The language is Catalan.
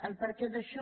el perquè d’això